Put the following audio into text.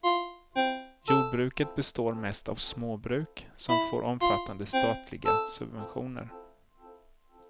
Jordbruket består mest av småbruk, som får omfattande statliga subventioner.